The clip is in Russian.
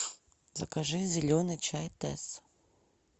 закажи зеленый чай тесс